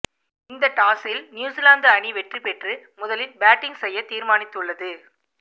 இந்த டாஸில் நியூசிலாந்து அணி வெற்றி பெற்று முதலில் பேட்டிங் செய்ய தீர்மானித்துள்ளது